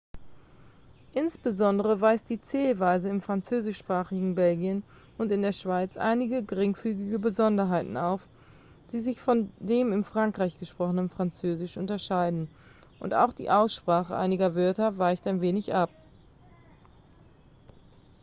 insbesondere weist die zählweise im französischsprachigen belgien und in der schweiz einige geringfügige besonderheiten auf die sich von dem in frankreich gesprochenen französisch unterscheiden und auch die aussprache einiger wörter weicht ein wenig ab